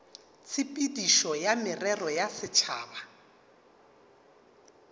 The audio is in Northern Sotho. tshepedišo ya merero ya setšhaba